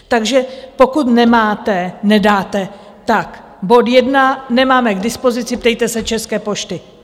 Takže pokud nemáte, nedáte, tak bod jedna - nemáme k dispozici, ptejte se České pošty.